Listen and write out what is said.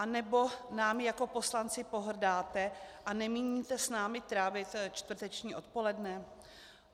Anebo námi jako poslanci pohrdáte a nemíníte s námi trávit čtvrteční odpoledne?